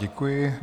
Děkuji.